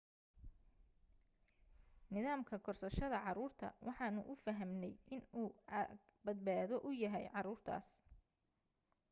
nidaamka korsashada caruurta waxaanu u fahamnay inuu aag badbaado u yahay caruurtaas